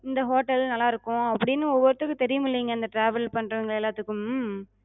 இந்த hotel நல்லா இருக்கு அப்டின்னு ஒவ்வொருத்தருக்கு தெரியுமிலங்க இந்த travel பண்றவங்க எல்லாத்துக்கு.